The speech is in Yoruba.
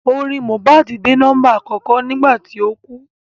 Orin Mohbad dé nọ́mbà àkọ́kọ́ nígbà tí ó kú